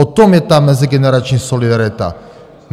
O tom je ta mezigenerační solidarita.